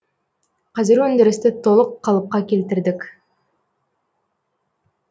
қазір өндірісті толық қалыпқа келтірдік